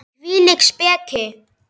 Hvílík speki!